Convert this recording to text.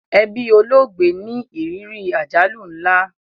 Ẹbí olóògbé ní ìrírí àjálù nla